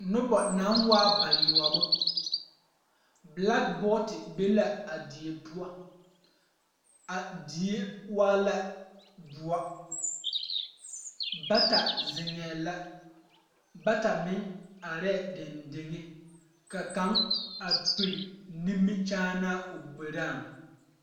Noba naŋ waa bayoɔbo bilagbɔte be la a die poɔ a die waa la doɔ bata ziŋɛɛ la bata meŋ arɛɛ deŋdeŋ ka kaŋa pire nimikyaanaa o gberaaŋ.